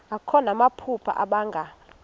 akho namaphupha abanga